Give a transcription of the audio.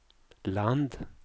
land